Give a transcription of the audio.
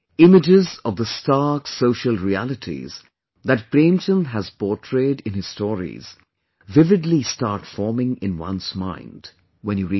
Images of the stark social realities that Premchand has portrayed in his stories vividly start forming in one's mind when you read them